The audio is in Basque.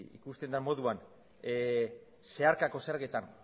ikusten den moduan zeharkako zergetan